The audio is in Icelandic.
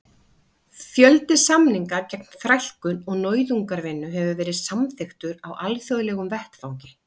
Fjöldi samninga gegn þrælkun og nauðungarvinnu hefur verið samþykktur á alþjóðlegum vettvangi.